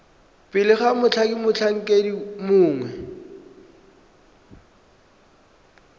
pele ga mothati motlhankedi mongwe